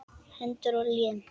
Hendur og lim.